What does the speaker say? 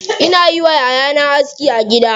Ina yi wa yayana aski a gida.